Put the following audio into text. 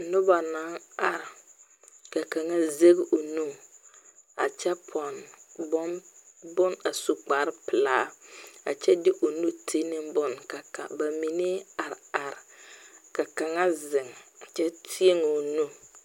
Nuba nang arẽ ka kanga zeg ɔ nu a kye pɔnne bun a su kpare pelaa kye de ɔ nu tenin bun ka ba mene a arẽ arẽ ka kanga zeng a kye tee ɔ nu.